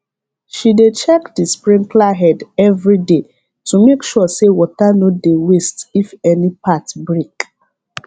she dey check the sprinkler head every day to make sure say water no dey waste if any part break